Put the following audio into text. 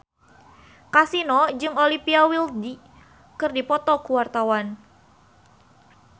Kasino jeung Olivia Wilde keur dipoto ku wartawan